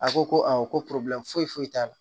A ko ko awɔ ko foyi t'a la